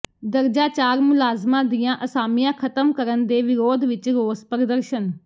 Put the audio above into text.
ਦਰਜਾ ਚਾਰ ਮੁਲਾਜ਼ਮਾਂ ਦੀਆਂ ਅਸਾਮੀਆਂ ਖਤਮ ਕਰਨ ਦੇ ਵਿਰੋਧ ਵਿੱਚ ਰੋਸ ਪ੍ਰਦਰਸ਼ਨ